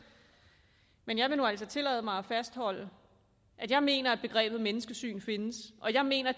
men jeg vil jo altså tillade mig at fastholde at jeg mener at begrebet menneskesyn findes og jeg mener